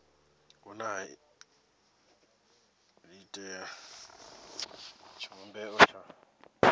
vhune ha iitela tshivhumbeo tsha